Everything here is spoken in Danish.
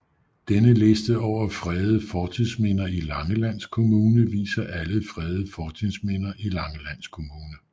Denne liste over fredede fortidsminder i Langeland Kommune viser alle fredede fortidsminder i Langeland Kommune